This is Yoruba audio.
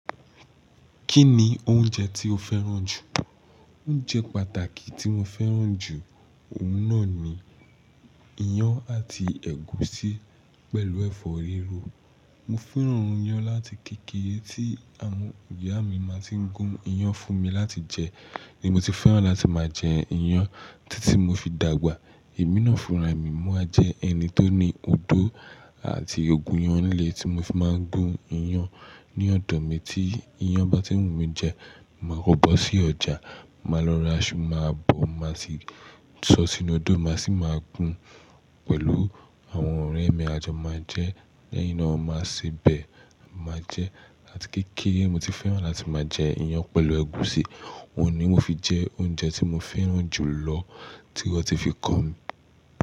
Kí ni oúnjẹ tí o fẹ́ràn jù? Oúnjẹ pàtàkì tí mo fẹ́ràn jù, òun náà ni iyán àti ẹ̀gúsí pẹ̀lú ẹ̀fọ́ riro. Mo fẹ́ràn iyán láti kékere tí àwọn ìyá mi máa tí ń gún iyán fún mi láti jẹ ni mo ti fẹ́ràn láti máa jẹ iyán títí mo fi dàgbà. Emí naà fún ra mi mo wa jẹ ẹni tó ní odó àti ogúnyán nle tí mo fi máa ń gún iyán ní ọ̀dọ̀ mi tí iyán bá tí ń wù mí jẹ. Máa kọ bọ sí ọjà, màá lọ ra ṣú, màá bò, màá sì tọ́ sí inú odó, màá sì máa gún pẹ̀lú àwọn ọ̀rẹ́ mi, a jọ máa jẹ, lẹ́yìn náà a máa sebẹ̀, a máa jẹ. Ati kékere mo ti fẹ́ràn láti máa jẹ iyán pẹ̀lú ẹ̀gúsí, òun ni o fi jẹ oúnjẹ tí mo fẹ́ràn jù lọ tí wọ́n ti fi kọ́ mi.